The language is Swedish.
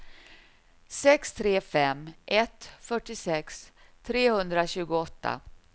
sex tre fem ett fyrtiosex trehundratjugoåtta